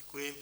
Děkuji.